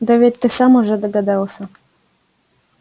да ведь ты сам уже догадался